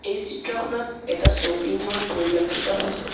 এই চিত্ৰখনত এটা শ্বপিং মল পৰিলক্ষিত হৈছে।